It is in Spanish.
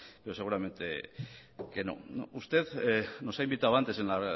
pero seguramente que no usted nos ha invitado antes en la